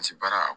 Paseke baara